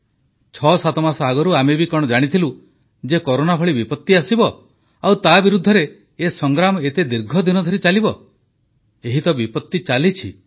67 ମାସ ଆଗରୁ ଆମେ ବି କଣ ଜାଣିଥିଲୁ ଯେ କରୋନା ଭଳି ବିପତ୍ତି ଆସିବ ଆଉ ତା ବିରୁଦ୍ଧରେ ଏ ସଂଗ୍ରାମ ଏତେ ଦୀର୍ଘଦିନ ଧରି ଚାଲିବ ଏହି ବିପତ୍ତି ତ ଚାଲିଛି